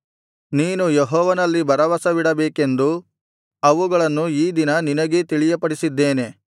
ನೀನು ಯೆಹೋವನಲ್ಲಿ ಭರವಸವಿಡಬೇಕೆಂದು ಅವುಗಳನ್ನು ಈ ದಿನ ನಿನಗೇ ತಿಳಿಯಪಡಿಸಿದ್ದೇನೆ